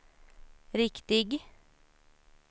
riktig